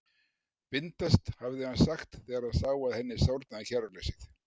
Bindast, hafði hann sagt, þegar hann sá að henni sárnaði kæruleysið.